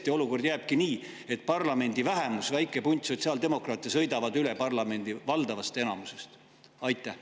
Kas olukord tõesti jääbki selliseks, et parlamendi vähemus, väike punt sotsiaaldemokraate, sõidab üle parlamendi valdavast enamusest?